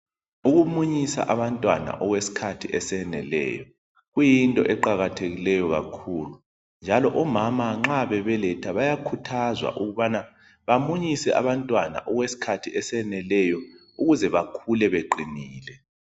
Ukumunyisa abantwana okwesikhathi eseneleyo kuyinto eqakathekileyo kakhulu njalo omama nxa bebeletha bayakhuthazwa ukubana bamunyise abantwana okwesikhathi eseneleyo ukuze bakhule beqinile.